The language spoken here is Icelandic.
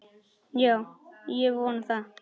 Já, ég vona það.